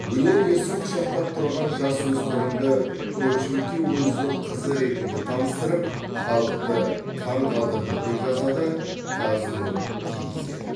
өнер иесі құшақтап тұрған жасөспірімді көпшілікке өзінің қызы ретінде таныстырып халықты таңғалдырды деп жазады қаз нұр кейзэт